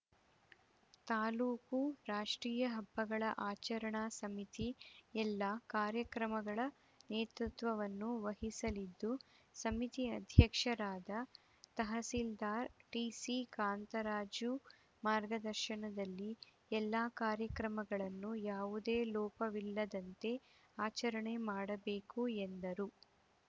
ತಾಲೂಕು ರಾಷ್ಟ್ರೀಯ ಹಬ್ಬಗಳ ಆಚರಣಾ ಸಮಿತಿ ಎಲ್ಲ ಕಾರ್ಯಕ್ರಮಗಳ ನೇತೃತ್ವವವನ್ನು ವಹಿಸಲಿದ್ದು ಸಮಿತಿ ಅಧ್ಯಕ್ಷರಾದ ತಹಸೀಲ್ದಾರ್‌ ಟಿಸಿ ಕಾಂತರಾಜು ಮಾರ್ಗದರ್ಶನದಲ್ಲಿ ಎಲ್ಲ ಕಾರ್ಯಕ್ರಮಗಳನ್ನು ಯಾವುದೇ ಲೋಪವಿಲ್ಲದಂತೆ ಆಚರಣೆ ಮಾಡಬೇಕು ಎಂದರು